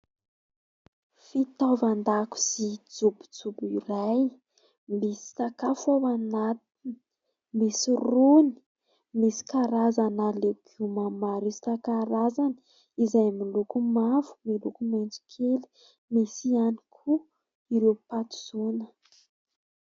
Fitaovan-dakozia kelikely iray, misy sakafo ao anatiny, misy rony, misy karazana legioma maro isan-karazany izay miloko mavo, miloko maitso kely. Misy ihany koa ireo patizaona.